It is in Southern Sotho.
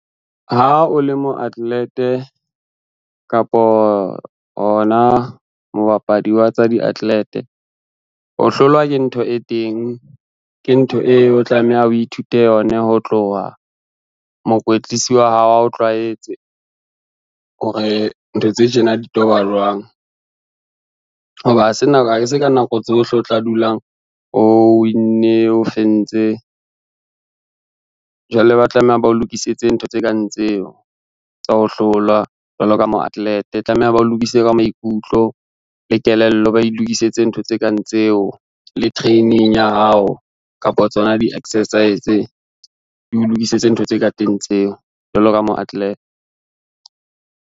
Ha o le mo athlete-e kapo hona mobapadi wa tsa di-athlete, ho hlolwa ke ntho e teng, ke ntho eo o tlameha o ithute yona ho tloha, mokwetlisi wa hao a o tlwaetse hore ntho tse tjena di tojwa jwang. Ho ba ha e se ka nako tsohle o tla dulang o winne, o fentse, jwale ba tlameha ba o lokisetse ntho tse kang tseo, tsa ho hlolwa jwalo ka mo-athlete. Tlameha bao lokise ka maikutlo le kelello, ba e lokisetse ntho tse kang tseo le training ya hao kapa tsona di-exercise, di o lokisetse ntho tse ka teng tseo jwalo ka mo-athlete.